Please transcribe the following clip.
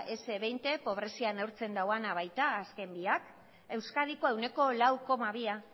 ese hogei pobrezia neurtzen dauana baita azken biak euskadikoa ehuneko lau koma bia